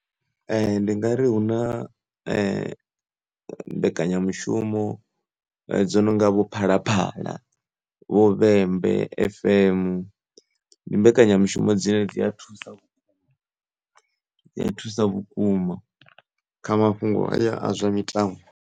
Ndi ngari hu na mbekanyamushumo dzo no nga vho phalaphala vho vhembe fm ndi mbekanyamushumo dzine dzi a thusa u thusa vhukuma kha mafhungo haya a zwa mitambo.